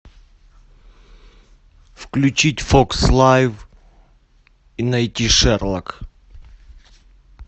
включить фокс лайф и найти шерлок